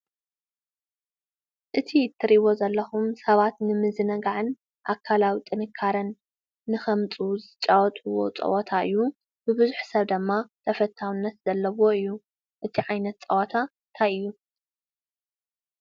እቲ እትርይዎ ዘለኹም ሰባት ንምዝነጋዕን ኣካላዊ ጥንካርን ንኸምፅኡ ዝጫወትዎ ጸወታ እዩ፡፡ ብብዙሕ ሰብ ድማ ተፈታውነት ዘለዎ እዩ፡፡ እቲ ዓይነት ፀወታ ታይ እዩ?